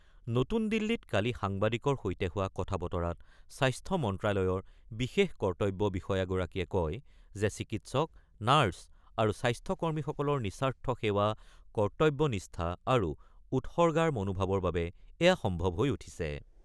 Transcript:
নতুন দিল্লীত কালি সাংবাদিকৰ সৈতে হোৱা কথা-বতৰাত স্বাস্থ্য মন্ত্ৰ্যালয়ৰ বিশেষ কৰ্তব্য বিষয়াগৰাকীয়ে কয় যে চিকিৎসক, নাৰ্চ আৰু স্বাস্থ্যকৰ্মীসকলৰ নিঃস্বাৰ্থ সেৱা, কৰ্তব্যনিষ্ঠা আৰু উৎসৰ্গাৰ মনোভাৱৰ বাবে এয়া সম্ভৱ হৈ উঠিছে।